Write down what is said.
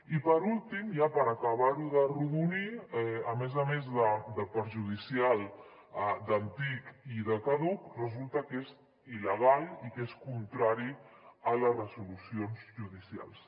i per últim ja per acabarho d’arrodonir a més a més de perjudicial d’antic i de caduc resulta que és il·legal i que és contrari a les resolucions judicials